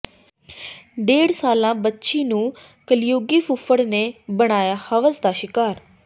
ਡੇਢ ਸਾਲਾ ਬੱਚੀ ਨੂੰ ਕਲਯੁਗੀ ਫੁੱਫੜ ਨੇ ਬਣਾਇਆ ਹਵਸ ਦਾ ਸ਼ਿਕਾਰ